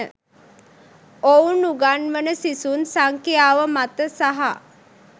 ඔවුන් උගන්වන සිසුන් සංඛ්‍යාව මත සහ